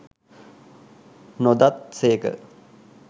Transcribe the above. නොදත් සේක